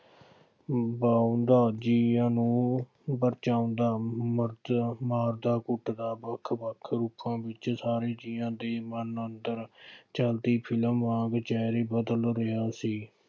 ਵਾਹੁੰਦਾ, ਜੀਆਂ ਨੂੰ ਪਰਚਾਉਂਦਾ, ਮੱਖੀਆਂ ਮਾਰਦਾ, ਕੁੱਟਦਾ, ਵੱਖੋ ਵੱਖ ਰੂਪਾਂ ਵਿੱਚ ਸਾਰੇ ਜੀਆਂ ਦੇ ਮਨ ਅੰਦਰ ਫਿਲਮ ਆ ਬੇਚੈਨ ਹੀ ਬਦਲ ਰਿਹਾ ਸੀ।